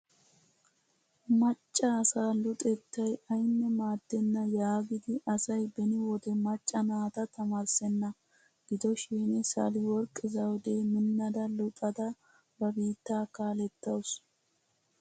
Macca asaa luxettay ayinne maaddenna yaagidi asay beni wode macca naata tamaarissenna. Gidoshin saleworq zawude minnada luxada ba biittaa kaalettaasu.